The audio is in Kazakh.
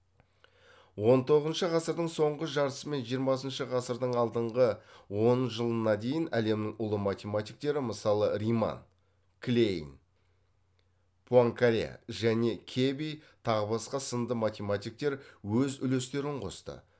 он тоғызыншы ғасырдың соңғы жартысы мен жиырмасыншы ғасырдың алдыңғы он жылына дейін әлемнің ұлы математиктері мысалы риман клейн пуанкаре және кеби тағы басқа сынды математиктер өз үлестерін қосты